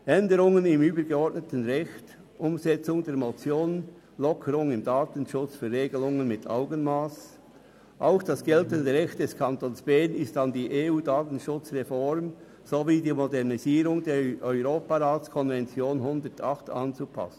Änderungen im übergeordneten Recht, die Umsetzung der Motion «Lockerungen im Datenschutz – für Regelungen mit Augenmass» sind ebenso wie das geltende Recht des Kantons Bern an die EU-Datenschutzreform sowie die Modernisierung der Europaratskonvention 108 anzupassen.